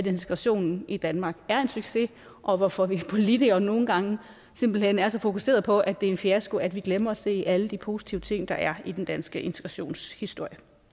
integrationen i danmark er en succes og hvorfor vi politikere nogle gange simpelt hen er så fokuseret på at det er en fiasko at vi glemmer at se alle de positive ting der er i den danske integrationshistorie